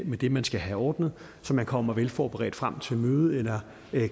med det man skal have ordnet så man kommer velforberedt frem til et møde eller